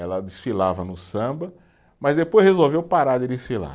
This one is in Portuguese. Ela desfilava no samba, mas depois resolveu parar de desfilar.